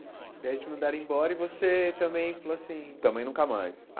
Daí eles te mandaram embora e você também falou assim... Também nunca mais.